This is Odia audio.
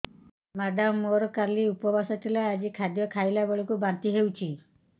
ମେଡ଼ାମ ମୋର କାଲି ଉପବାସ ଥିଲା ଆଜି ଖାଦ୍ୟ ଖାଇଲା ବେଳକୁ ବାନ୍ତି ହେଊଛି